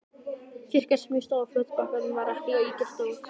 Kirkjan, sem stóð á fljótsbakkanum, var ekki ýkja stór.